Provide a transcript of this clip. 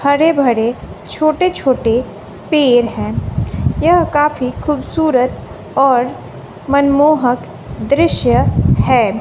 हरे भरे छोटे छोटे पेड़ हैं यह काफी खूबसूरत और मनमोहक दृश्य है।